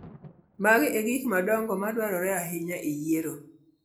Mago e gik madongo madwarore ahinya e yiero.